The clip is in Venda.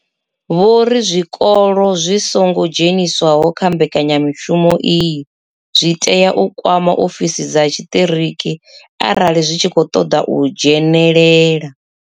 Vho ri zwikolo zwi songo dzheniswaho kha mbekanyamushumo iyi zwi tea u kwama ofisi dza tshiṱiriki arali zwi tshi khou ṱoḓa u dzhenelela.